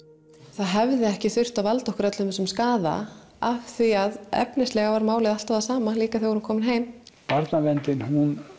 það hefði ekki þurft að valda okkur öllum þessum skaða af því að efnislega var málið alltaf það sama líka þegar við komum heim barnaverndin hún